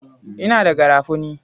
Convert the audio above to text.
Ina da garafuni.